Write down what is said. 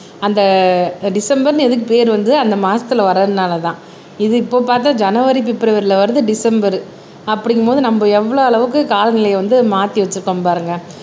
அந்த டிசம்பர்ன்னு எதுக்கு பேர் வந்து அந்த மாசத்துல வர்றதுனாலதான் இது இப்ப பார்த்தா ஜனவரி பிப்ரவரில வருது டிசம்பர் அப்படிங்கும்போது நம்ம எவ்வளவு அளவுக்கு காலநிலையை வந்து மாத்தி வச்சிருக்கோம் பாருங்க